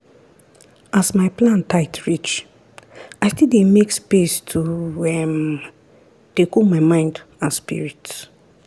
as my plan tight reach i still dey make space to um dey cool my mind and spirit.